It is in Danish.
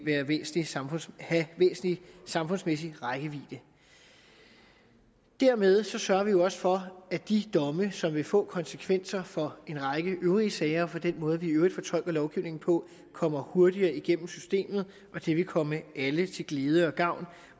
har væsentlig samfundsmæssig væsentlig samfundsmæssig rækkevidde dermed sørger vi jo også for at de domme som vil få konsekvenser for en række øvrige sager og for den måde vi i øvrigt fortolker lovgivningen på kommer hurtigere igennem systemet det vil komme alle til glæde og gavn